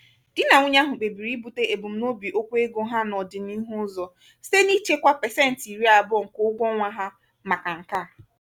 di na nwunye ahụ kpebiri ibute ebumnobi okwu ego ha n'ọdị n'ihu ụzọ site n'ichekwa pesenti irí abụo nke ụgwọ ọnwa ha màkà nkea.